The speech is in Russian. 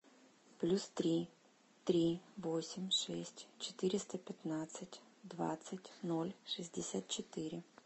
плюс три три восемь шесть четыреста пятнадцать двадцать ноль шестьдесят четыре